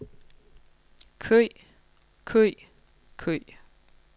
kø kø kø